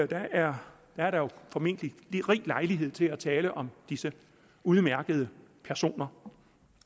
der er er der formentlig rig lejlighed til at tale om disse udmærkede personer